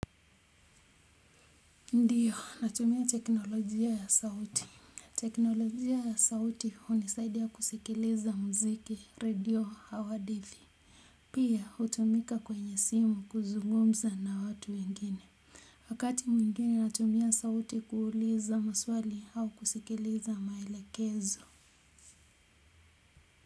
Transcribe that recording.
Ndiyo, natumia teknolojia ya sauti. Teknolojia ya sauti hunisaidia kusikiliza mziki radio au hadithi. Pia, hutumika kwenye simu kuzugumza na watu wengine. Wakati mwingine natumia sauti kuuliza maswali au kusikiliza maelekezo.